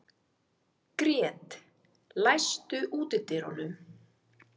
Grét, læstu útidyrunum.